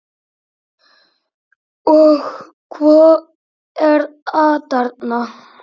Og hvað er atarna?